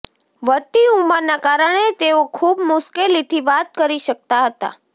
વધતી ઉંમરના કારણે તેઓ ખૂબ મુશ્કેલીથી વાત કરી શકતા હતા